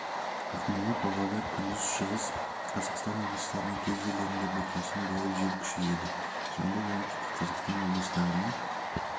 ақмола павлодар күндіз шығыс қазақстан облыстарының кей жерлерінде бұрқасын болып жел күшейеді жамбыл оңтүстік қазақстан облыстарының